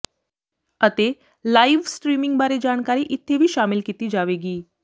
ਅਤੇ live streaming ਬਾਰੇ ਜਾਣਕਾਰੀ ਇੱਥੇ ਵੀ ਸ਼ਾਮਿਲ ਕੀਤੀ ਜਾਵੇਗੀ